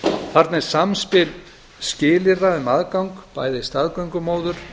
þarna er samspil skilyrða um aðgang bæði staðgöngumóður